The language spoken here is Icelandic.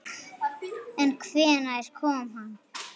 En hvenær kom hann?